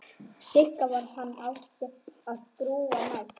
Sigga varð hann og átti að grúfa næst.